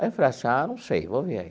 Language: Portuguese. Aí eu falei assim, ah, não sei, vou ver aí.